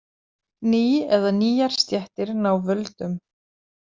Ný eða nýjar stéttir ná völdum.